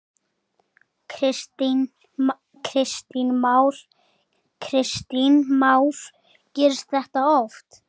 Kristján Már: Gerist þetta oft?